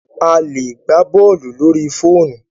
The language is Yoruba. A lè gbá bọ́ọ̀lù lórí fóònù.